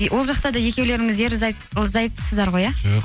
и ол жақтада да екеулеріңіз ерлі зайыптысыздар ғой ә жоқ